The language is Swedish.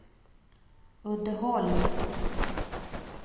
Uddeholm